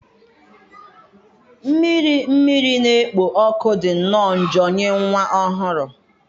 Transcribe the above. Mmiri mmiri na-ekpo ọkụ dị nnọọ njọ nye nwa ọhụrụ.